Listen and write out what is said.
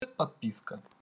подписка